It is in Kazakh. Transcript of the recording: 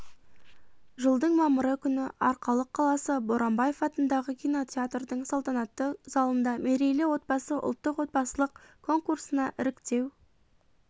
жылдың мамыры күні арқалық қаласы боранбаев атындағы кинотеатрының салтанатты залында мерейлі отбасы ұлттық отбасылық конкурсына іріктеу